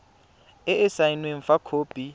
e e saenweng fa khopi